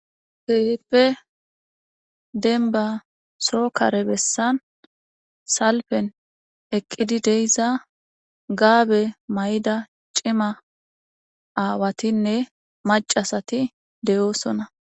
Keehippe demba soo kare bessan salphen ekkiddi dayssa gaabe maydda cima aawatinne macca asati de'osona.